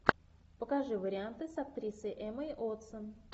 покажи варианты с актрисой эммой уотсон